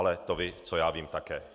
Ale to vy, co já vím, také.